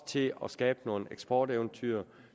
til at skabe nogle eksporteventyr